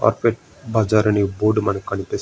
అక్కడ బజార్ అన్ని బోర్డు మనకి కనిపిస్తున్నది.